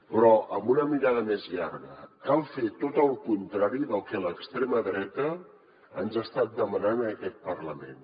però amb una mirada més llarga cal fer tot el contrari del que l’extrema dreta ens ha estat demanant en aquest parlament